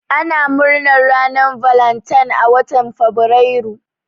Ana murnar ranar valentine a watan fabrairu.